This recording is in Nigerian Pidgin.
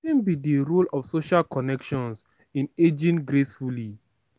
wetin be di role of social connections in aging gracefully?